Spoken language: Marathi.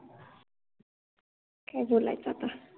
काय बोलायच आता